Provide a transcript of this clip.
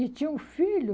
E tinha um filho.